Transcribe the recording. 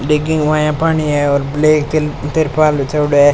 डिगी के माय पानी है और ब्लैक त्रि त्रिपाल बिछायोडो है।